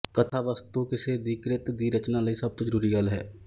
ਕਥਾ ਵਸਤੂਕਿਸੇ ਦੀ ਕ੍ਰਿਤ ਦੀ ਰਚਨਾ ਲਈ ਸਭ ਤੋਂ ਜ਼ਰੂਰੀ ਗੱਲ ਹੈ